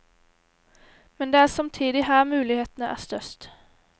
Men det er samtidig her mulighetene er størst.